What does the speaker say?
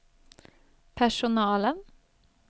personalen